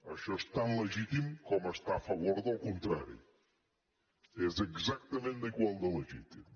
això és tan legítim com estar a favor del contrari és exactament igual de legítim